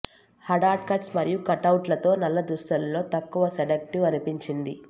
హడాడ్ cuts మరియు కట్అవుట్లతో నల్ల దుస్తులలో తక్కువ సెడక్టివ్ అనిపించింది